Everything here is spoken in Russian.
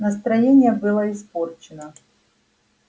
настроение было испорчено